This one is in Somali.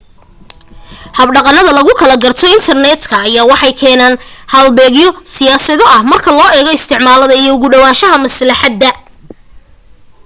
habdhaqanada lagu kala garto intarneedka ayaa waxay keenaan halbeegyo siyaado ah marka loo eego isticmaalada iyo ugu dhawaanshaha maslaxadda